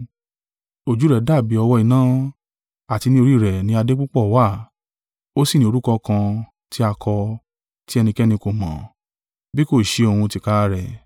Ojú rẹ̀ dàbí ọ̀wọ́-iná, àti ní orí rẹ̀ ni adé púpọ̀ wà; ó sì ní orúkọ kan tí a kọ, tí ẹnikẹ́ni kò mọ́, bí kò ṣe òun tìkára rẹ̀.